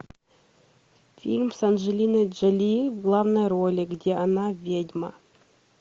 фильм с анджелиной джоли в главной роли где она ведьма